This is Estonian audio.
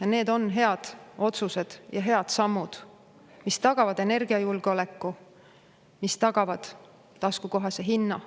Ja need on head otsused ja head sammud, mis tagavad energiajulgeoleku, mis tagavad taskukohase hinna.